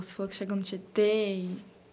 Você falou que chegou no Tietê e